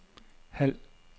halv